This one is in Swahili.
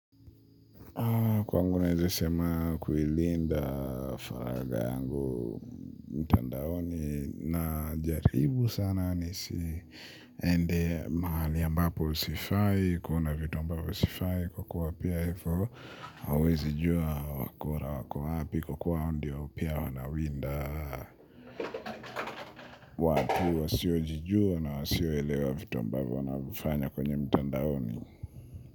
Kwangu naeze sema kuilinda faraga yangu mtandaoni najaribu sana nisiende mahali ambapo sifai, kuona vitu ambavyo usifai kukua pia hivo, hauwezi jua wakora wako wapi kwa kua hao ndio pia wanawinda watu wasio jijua na wasio elewa vitu ambavyo wanavifanya kwenye mtandaoni.